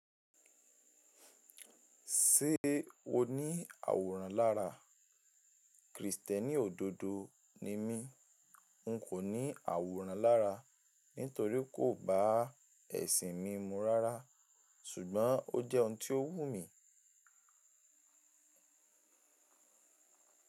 Ṣé o ní àwòrán lára? Krìstẹ́nì òdodo ni mí, n kò ní àwòrán lára nítorí kò bá ẹ̀sìn mi mu rárá, ṣùgbọ́n ó jẹ́ ohun tó wù mí.